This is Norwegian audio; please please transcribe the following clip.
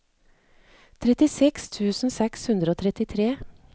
trettiseks tusen seks hundre og trettitre